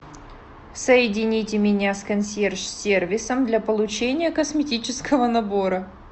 соедините меня с консьерж сервисом для получения косметического набора